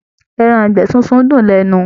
Ẹran ìgbẹ́ sísun dùn lẹ́nu.